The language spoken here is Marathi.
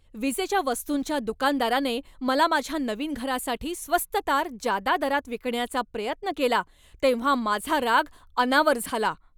विजेच्या वस्तूंच्या दुकानदाराने मला माझ्या नवीन घरासाठी स्वस्त तार जादा दरात विकण्याचा प्रयत्न केला तेव्हा माझा राग अनावर झाला.